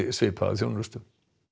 svipaða þjónustu